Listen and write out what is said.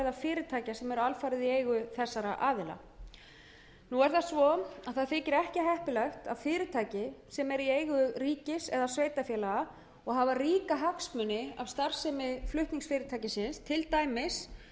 fyrirtækja sem eru alfarið í eigu þessara aðila nú er það svo að það þykir ekki heppilegt að fyrirtæki sem er í eigu ríkis eða sveitarfélaga og hafa ríka hagsmuni af starfsemi flutningsfyrirtækisins til dæmis